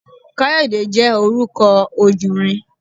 Káyọ̀dé jẹ́ orúkọ ojùnrin